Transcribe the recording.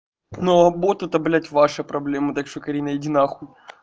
но будто это ваши проблемы так что карина иди нахуй